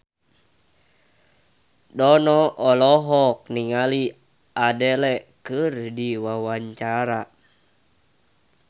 Dono olohok ningali Adele keur diwawancara